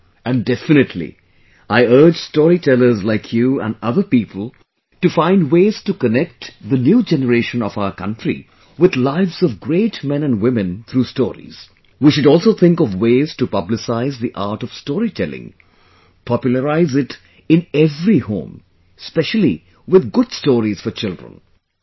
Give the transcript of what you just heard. And, definitely, I urge storytellers like you and other people to find ways to connect the new generation of our country with lives of great men and women through stories; we should also think of ways to publicise the art of storytelling, popularise it in every home specially with good stories for children...